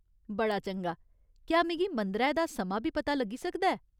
बड़ा चंगा ! क्या मिगी मंदरै दा समां बी पता लग्गी सकदा ऐ ?